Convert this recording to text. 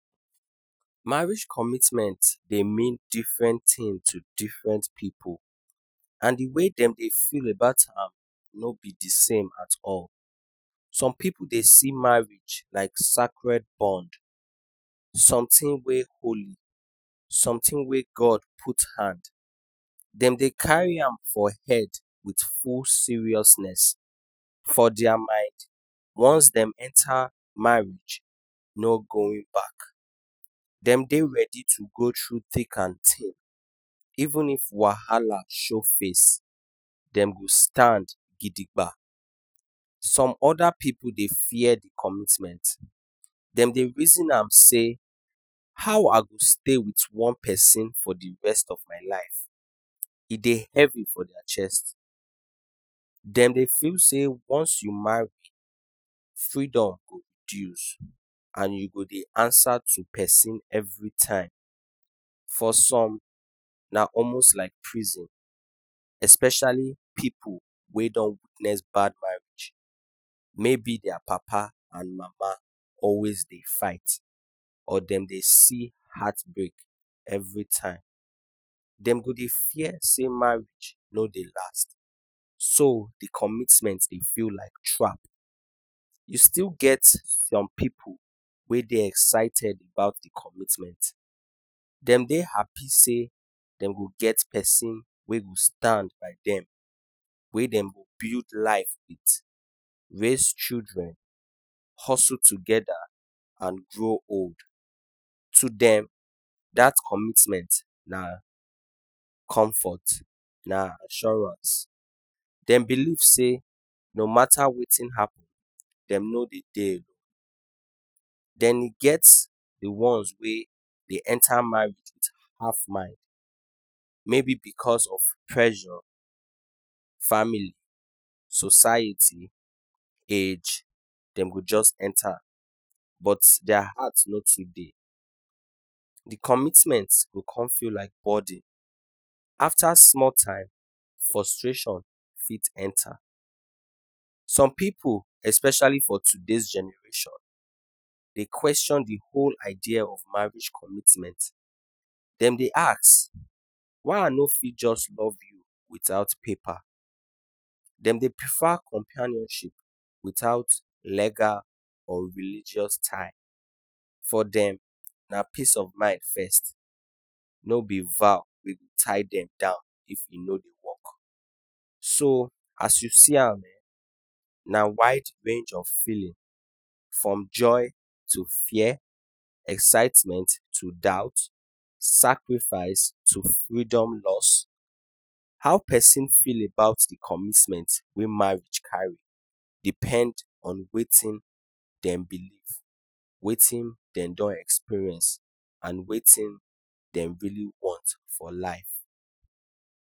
Marriage commitment dey mean different thing to different pipu, and d way dem dey feel about am no b dsame at all some pipu dey see marriage like scared bond something wey God put hand dem dey carry am for head with full seriousness, for dia mind once dem enta no going back, dem dey ready to go thru thick and thing even if wahala show dem go stand gidigba, some oda pipu dey fear commitment, dem dey reason ma sey how I go stay with one persin for d rest of my life, e dey heavy for dia chest dem dey feel say once u marry freedom go reduce and u go ansa to persin everytime for some na almost like prison especially those wey don taste bad marriage, mayb dia papa and mama always dey fight or dem dey see heartbreak all d time, dem go dey fear sey marriage no dey last so d commitment dey like trap, e still get some pipu wey dey excited about commitment dem dey happy say dem go get persin wey go stand by dem wey dem go build life with, raise children, hustle togeda, and grow old, to dem dat commitment na comfort na assurance dem believe sey no mata wetin happen dem no d deal, dem get d ones wey dem de yenta marriage wit half mind because of pressure, family, society, age, dem go jus enta but dia mind no too de, d commitment go con feel like burden, afta small time frustration go con enta, some pipu especially for dis generation dey question d whole idea of marriage commitment, dem dey ask why I no fit jus love u without paper dem dey prefer companion witout legal or religious tie for dem na peace of mind first no b vow go tie dem down if e no dey work, so as u see am ehn, na wide range of feeling from joy to fear, excitement to doubt, sacrifice to freedom loss, how persin feel about d commitment wey marriage carry depend on wetin dem believe, wetin dem don experience and wetin dem really want for life.